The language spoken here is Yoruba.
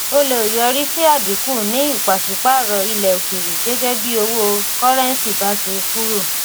ó lè yọrí sí àdínkù ní ìpàsípààrọ̀ ilẹ̀ òkèèrè gẹ́gẹ́ bí owó kọ́rẹ́ńsì bá ṣe kúrò.